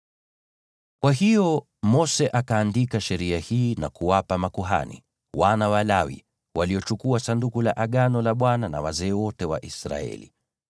Kwa hiyo Mose akaandika sheria hii na kuwapa makuhani, wana wa Lawi, waliochukua Sanduku la Agano la Bwana na wazee wote wa Israeli.